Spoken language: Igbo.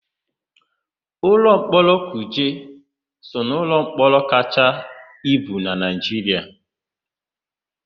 Ụlọmkpọrọ Kuje so n'ụlọmkpọrọ kachaa ibu na Naịjiria.